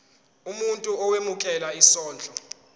umuntu owemukela isondlo